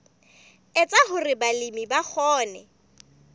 etsa hore balemi ba kgone